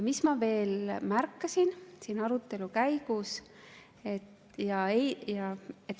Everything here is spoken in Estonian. Mis ma veel märkasin siin arutelu käigus?